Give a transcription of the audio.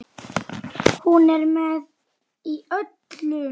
Hún er með í öllu